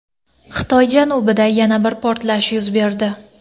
Xitoy janubida yana bir portlash yuz berdi.